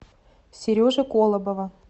сережи колобова